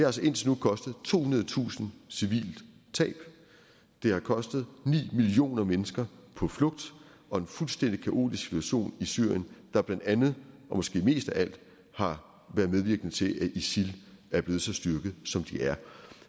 altså indtil nu kostet tohundredetusind civile tab og det har kostet ni millioner mennesker på flugt og en fuldstændig kaotisk situation i syrien der blandt andet og måske mest af alt har været medvirkende til at isil er blevet så styrket som de er